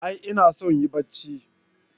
A'a inason yin Bacci?